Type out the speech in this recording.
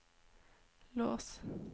lås